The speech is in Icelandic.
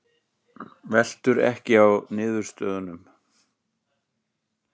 Veltur ekki á niðurstöðunum